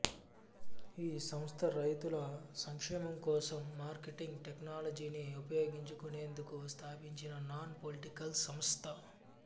ఈ సంస్థ రైతుల సంక్షేమం కోసం మార్కెటింగ్ టెక్నాలజీని ఉపయోగించుకొనేందుకు స్థాపించిన నాన్ పొలిటికల్ సంస్థ